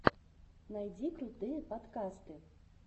найди крутые подкасты